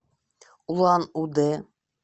улан удэ